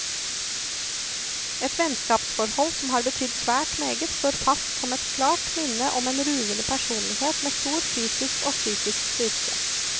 Et vennskapsforhold som har betydd svært meget, står fast som et klart minne om en ruvende personlighet med stor fysisk og psykisk styrke.